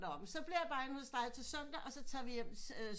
Nå så bliver jeg bare inde hos dig til søndag og så tager vi hjem